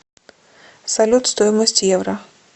салют стоимость евро